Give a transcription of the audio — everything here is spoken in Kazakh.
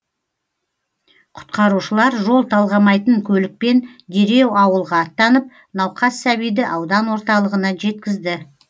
құтқарушылар жол талғамайтын көлікпен дереу ауылға аттанып науқас сәбиді аудан орталығына жеткізді